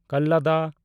ᱠᱟᱞᱞᱟᱫᱟ